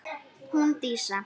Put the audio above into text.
Hún Dísa?